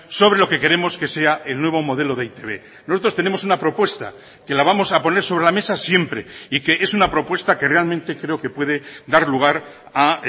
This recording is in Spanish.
sobre lo que queremos que sea el nuevo modelo de e i te be nosotros tenemos una propuesta que la vamos a poner sobre la mesa siempre y que es una propuesta que realmente creo que puede dar lugar a